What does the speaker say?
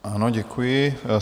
Ano, děkuji.